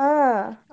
ಹಾ